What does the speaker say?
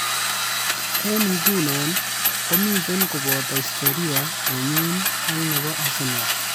"Eng nguno komitei kobate historia nenyu ak nebo Arsenal."